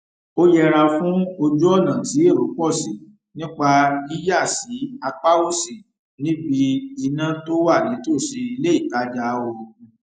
ó yẹra fún ojúònà tí èrò pò sí nípa yíyà sí apá òsì níbi iná tó wà nítòsí iléìtajà oògùn